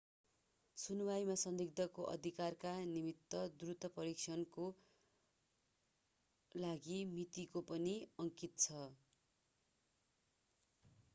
सुनुवाईमा संदिग्धको अधिकारका निम्ति द्रुत परीक्षणकोका लागि मिति पनि अंकित छ